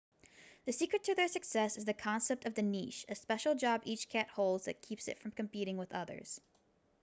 the secret to their success is the concept of the niche a special job each cat holds that keeps it from competing with others